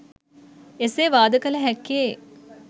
එසේ වාද කළ හැක්කේ